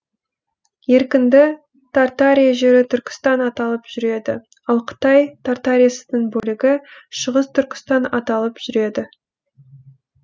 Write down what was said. еркінді тартария жері түркістан аталып жүреді ал қытай тартариясының бөлігі шығыс түркістан аталып жүреді